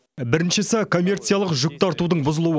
біріншісі коммерциялық жүкті артудың бұзылуы